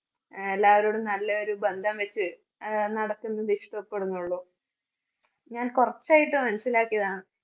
ആഹ് എല്ലാവരോടും നല്ല ഒരു നല്ല ബന്ധം വെച്ച് ആഹ് നടത്തുന്നത് ഇഷ്ടപ്പെടുന്നുള്ളൂ. ഞാൻ കുറച്ചായിട്ട് മനസ്സിലാക്കിയതാണ്.